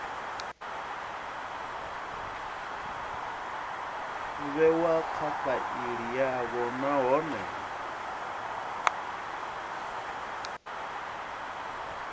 vhewa kha faili yavho nahone